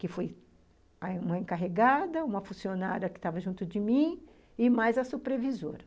Que foi uma encarregada, uma funcionária que estava junto de mim, e mais a supervisora.